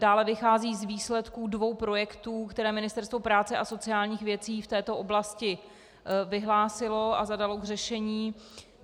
Dále vycházejí z výsledků dvou projektů, které Ministerstvo práce a sociálních věcí v této oblasti vyhlásilo a zadalo k řešení.